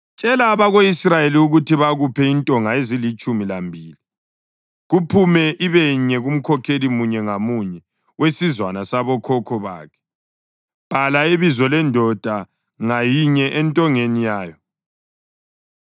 “Tshela abako-Israyeli ukuthi bakuphe intonga ezilitshumi lambili, kuphume ibenye kumkhokheli munye ngamunye wesizwana sabokhokho bakhe. Bhala ibizo lendoda ngayinye entongeni yayo.